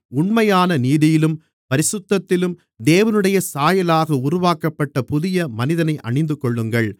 உண்மையான நீதியிலும் பரிசுத்தத்திலும் தேவனுடைய சாயலாக உருவாக்கப்பட்ட புதிய மனிதனை அணிந்துகொள்ளுங்கள்